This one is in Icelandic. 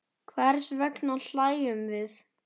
Hvers vegna hlæjum við?